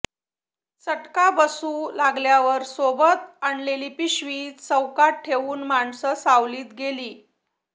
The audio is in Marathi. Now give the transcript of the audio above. चटका बसू लागल्यावर सोबत आणलेली पिशवी चौकोनात ठेवून माणसं सावलीत गेली